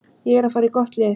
Ég er að fara í gott lið.